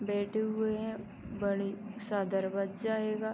बैठे हुए हैं। बड़ी सा दरवजा आएगा।